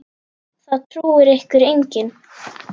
Það trúir ykkur enginn!